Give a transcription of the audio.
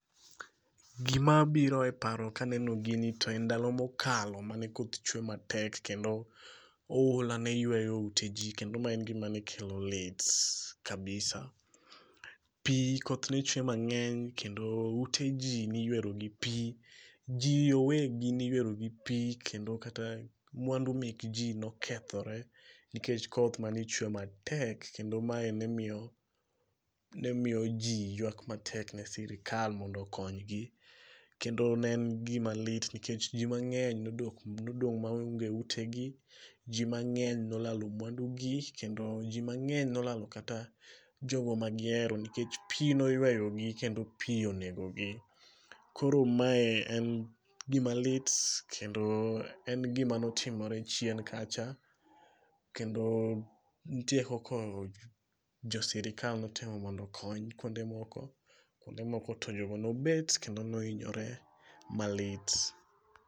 Gima biro e paro kaneno gini to en ndalo mokalo mane koth chwe matek kendo oula ne yweyo ute jii kendo mae en gima nekelo lit kabisa. Pii koth ne chwe mangeny kendo ute jii niywero gi pii. Jii owegi ne iyero gi pii kendo kata mwandu mek jii ne nokethore nikech koth mane chwe matek kendo mae nemiyo, nemiyo jii ywak matek ne sirkal mondo oknygi ,kendo ne en gima lit nikech jii mangeny nodong maonge ute gi ,jii mangeny nolalo mwandu gi kendo jii mangeny nolalo kata jogo magihero nikech pii noywero gi kendo pii onego gi. Koro mae en gima lit kendo en gima notimore chien kacha kendo nitie kaka jo sirkal nokonyo mondo okony kuonde moko to kuonde moko to jogo nobet kendo nohinyore malit